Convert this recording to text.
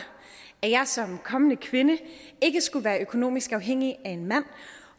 at jeg som kommende kvinde ikke skulle være økonomisk afhængig af en mand